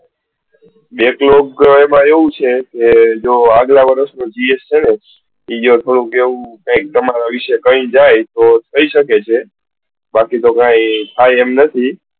backlog માં આવું છે કે જો અગલા વર્ષ નું તમારા વિશે કઈ જાય તો કઈ થઇ શકે છે બાકી તો કઈ થાય એમ નથી.